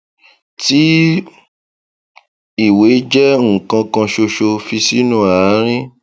tí ìwé jẹ nkan kan ṣoṣo fi sínú àárín